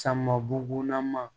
Sama bugun ma